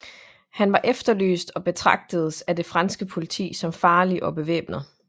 Hun var efterlyst og betragtedes af det franske politi som farlig og bevæbnet